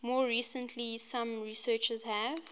more recently some researchers have